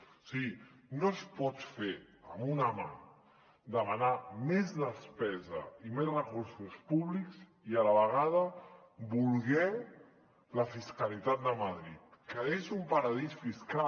o sigui no es pot fer amb una mà demanar més despesa i més recursos públics i a la vegada voler la fiscalitat de madrid que és un paradís fiscal